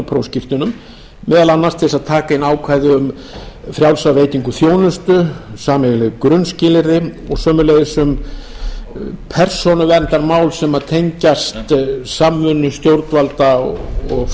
prófskírteinum meðal annars til þess að taka inn ákvæði um frjálsa veitingu þjónustu sameiginleg grunnskilyrði og sömuleiðis um persónuverndarmál sem tengjast samvinnu stjórnvalda og